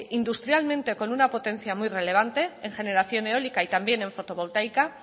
industrialmente como una potencia muy relevante en generación eólica y también en fotovoltaica